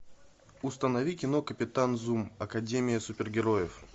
установи кино капитан зум академия супергероев